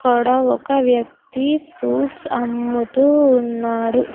అక్కడ ఒక వ్యక్తి ఫ్రూప్ట్స్ అమ్ముతూ ఉన్నాడు .